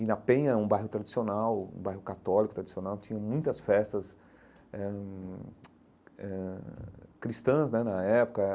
E na Penha, um bairro tradicional, um bairro católico tradicional, tinha muitas festas eh hum eh cristãs né na época.